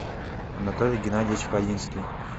анатолий геннадьевич хаинский